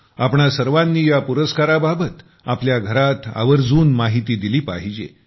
आपणा सर्वांनी या पुरस्काराबाबत आपल्या घरात आवर्जून माहिती दिली पाहिजे